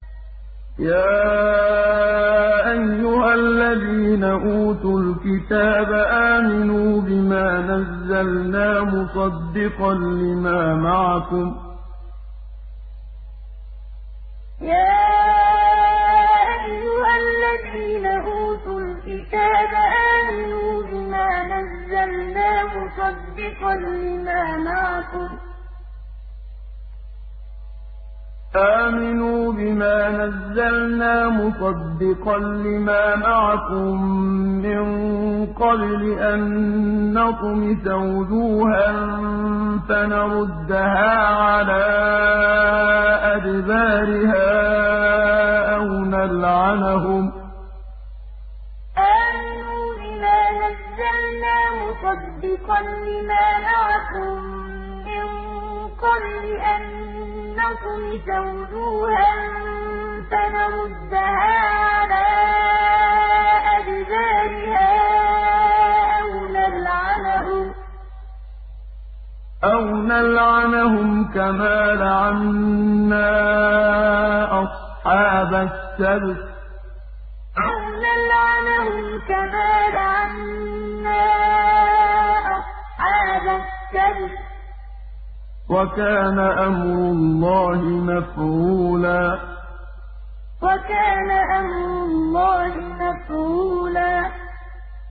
يَا أَيُّهَا الَّذِينَ أُوتُوا الْكِتَابَ آمِنُوا بِمَا نَزَّلْنَا مُصَدِّقًا لِّمَا مَعَكُم مِّن قَبْلِ أَن نَّطْمِسَ وُجُوهًا فَنَرُدَّهَا عَلَىٰ أَدْبَارِهَا أَوْ نَلْعَنَهُمْ كَمَا لَعَنَّا أَصْحَابَ السَّبْتِ ۚ وَكَانَ أَمْرُ اللَّهِ مَفْعُولًا يَا أَيُّهَا الَّذِينَ أُوتُوا الْكِتَابَ آمِنُوا بِمَا نَزَّلْنَا مُصَدِّقًا لِّمَا مَعَكُم مِّن قَبْلِ أَن نَّطْمِسَ وُجُوهًا فَنَرُدَّهَا عَلَىٰ أَدْبَارِهَا أَوْ نَلْعَنَهُمْ كَمَا لَعَنَّا أَصْحَابَ السَّبْتِ ۚ وَكَانَ أَمْرُ اللَّهِ مَفْعُولًا